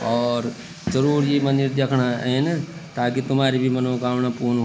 और जरूर ये मंदिर दयेखड़ां एैन ताकि तुम्हारी भी मनोकामणा पूर्ण --